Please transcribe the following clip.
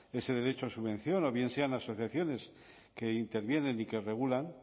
ese derecho a subvención o bien sean asociaciones que intervienen y que regulan